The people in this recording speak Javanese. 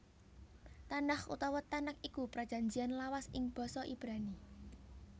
Tanakh utawa Tanak iku Prajanjian Lawas ing basa Ibrani